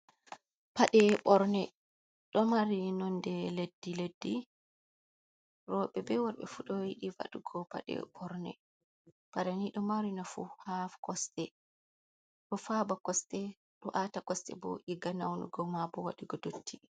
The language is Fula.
Paɗe ɓorne ɗo mari nonde leddi leddi, roɓe ɓe worɓe fu ɗo yiɗi waɗugo paɗe borne, paɗe ni ɗo mari nafu ha kosɗe ɗo faba kosɗe, ɗo ata kosɗe bo diga naunugo ma ɓo waɗugo dotti.